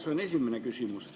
See on esimene küsimus.